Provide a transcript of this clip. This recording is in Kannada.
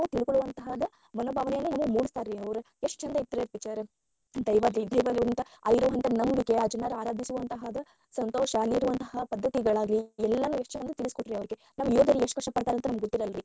ತಿಳ್ಕೊಳುವಂತಾದ ಮನೋಭಾವನೆಯನ್ನ ಮೂಡಸ್ತಾರರಿ ಅವರ ಎಷ್ಟ ಚಂದ ಐತರೀ ಅದ picture ದೈವದ ಇದ ಇರುವಂಥ ಅದರ ನಂಬಿಕೆ ಆ ಜನರ ಆರಾಧಿಸುವಂತಾದ ಸಂತೋಷ ಅಲ್ಲಿರುವಂತ ಪದ್ಧತಿಗಳಾಗ್ಲಿ ಎಲ್ಲಾನು ಎಷ್ಟ ಚಂದ ತಿಳಸಕೊಟ್ಟಾರಿ ಅವ್ರಿಗೆ ನಮ್ಮ ಯೋಧರು ಎಷ್ಟ ಕಷ್ಟ ಪಡತಾರ ಅಂತ ನಮಗ ಗೊತ್ತಿರಲ್ಲಾರಿ.